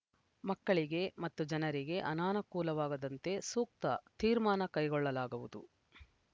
ಮಕ್ಕಳಿಗೆ ಮತ್ತು ಜನರಿಗೆ ಅನಾನುಕೂಲವಾಗದಂತೆ ಸೂಕ್ತ ತೀರ್ಮಾನ ಕೈಗೊಳ್ಳಲಾಗುವುದು